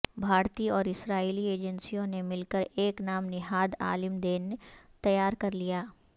بھارتی اور اسرائیلی ایجنسیوں نے مل کر ایک نام نہاد عالم دین تیار کر لیا